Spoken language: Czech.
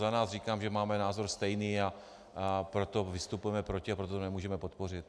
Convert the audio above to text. Za nás říkám, že máme názor stejný, a proto vystupujeme proti a proto to nemůžeme podpořit.